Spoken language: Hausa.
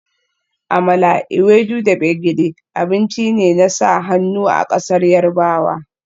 Amala, ewedu da gbegiri abinci ne na sa hannu a ƙasar Yarbawa